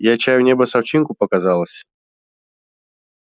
я чаю небо с овчинку показалось